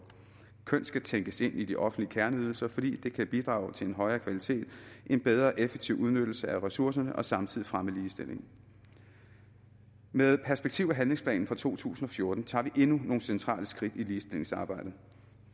køn skal tænkes ind i de offentlige kerneydelser fordi det kan bidrage til en højere kvalitet en bedre og mere effektiv udnyttelse af ressourcerne og samtidig fremme ligestilling med perspektiv og handlingsplanen for to tusind og fjorten tager vi endnu nogle centrale skridt i ligestillingsarbejdet